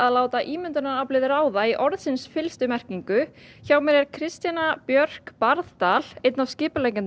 láta ímyndunaraflið ráða í orðsins fyllstu merkingu hjá mér er Kristjana Björk Barðdal ein af skipuleggjendum